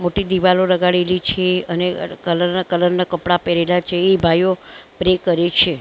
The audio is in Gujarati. મોટી દીવાલો લગાડેલી છે અને કલર ના કલર ના કપડા પેહરેલા છે. એ ભાઇઓ પ્રે કરે છે.